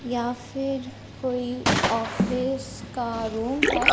या फिर कोई ऑफिस का रूम है।